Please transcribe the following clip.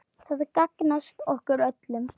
Það gagnast okkur öllum.